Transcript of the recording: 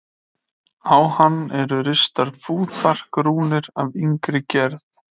Á hann eru ristar fúþark-rúnir af yngri gerð.